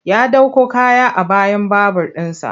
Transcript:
Ya ɗauko kaya a bayan babur ɗinsa.